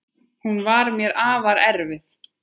Hún var mér afar erfið.